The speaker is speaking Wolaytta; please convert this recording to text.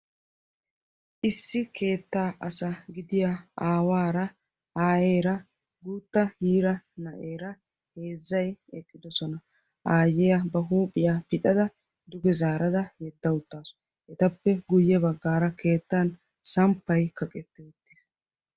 issi keettaa asa gidiya aawaara aayeera guutta yiira na'eera heezzay eqqidosona. aayyiya ba huuphiyaa pixada duge zaarada yedda uttaasu etappe guyye baggaara keettan samppay kaqetti uttiis.